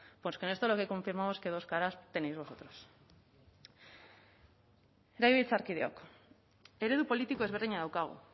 pues pues con esto lo que confirmamos que dos caras tenéis vosotros legebiltzarkideok eredu politiko ezberdina daukagu